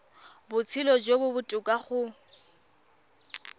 botshelo jo bo botoka go